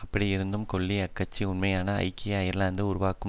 அப்படி இருந்தும் கெல்லி அக்கட்சி உண்மையான ஐக்கிய அயர்லாந்தை உருவாக்கும்